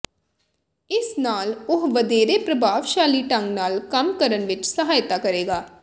ਇਸ ਨਾਲ ਉਹ ਵਧੇਰੇ ਪ੍ਰਭਾਵਸ਼ਾਲੀ ਢੰਗ ਨਾਲ ਕੰਮ ਕਰਨ ਵਿੱਚ ਸਹਾਇਤਾ ਕਰੇਗਾ